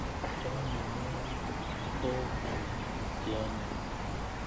Chonye nyo kou ng'alek che onyiny